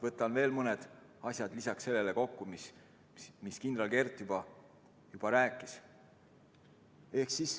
Võtan veel mõned asjad siin kokku, lisaks sellele, mis kindral Kert juba rääkis.